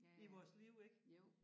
I vores liv ik